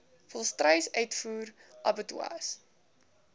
volstruis uitvoer abattoirs